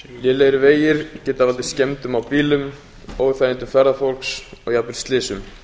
lélegir vegir geta valdið skemmdum á bílum óþægindum ferðafólks og jafnvel slysum